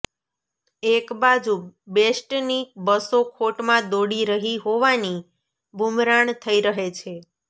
એક બાજુ બેસ્ટની બસો ખોટમાં દોડી રહી હોવાની બૂમરાણ થઈ રહે છે